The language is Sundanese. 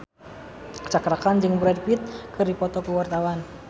Cakra Khan jeung Brad Pitt keur dipoto ku wartawan